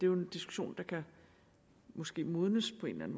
jo en diskussion som måske kan modnes på en